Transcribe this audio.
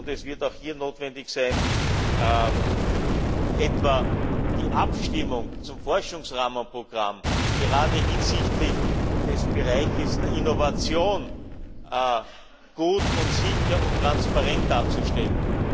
Es wird auch hier notwendig sein, etwa die Abstimmung zum Forschungsrahmenprogramm, gerade hinsichtlich des Bereiches der Innovation, gut und sicher und transparent darzustellen.